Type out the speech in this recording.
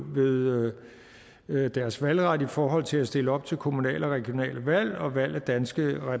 udøve via deres valgret i forhold til at stille op til kommunale og regionale valg og valg af danske